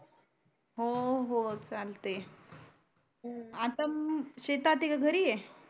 हो हो चालते आता शेतात आहे की घरी आहे